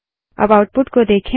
अब आउटपुट को देखें